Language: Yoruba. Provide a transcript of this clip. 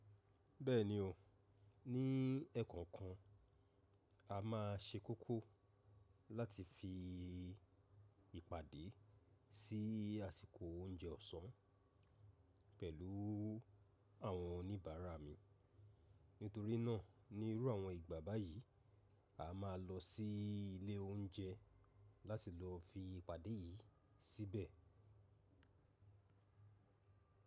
Bẹ́ẹ̀ni o, ní ẹ̀ẹ̀kan kan a má a ṣe kókó láti fi ìpàdé sí àsìkò oúnjẹ ọ̀sán pẹ̀lú àwọn oníbàárà mi. Nítorí náà ní irú àwọn ìgbà báyìí, a má a lọ sí ilé oúnjẹ láti lọ fi ìpàdé yìí síbẹ̀.